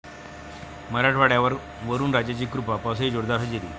मराठवाड्यावर वरूणराजाची कृपा, पावसाची जोरदार हजेरी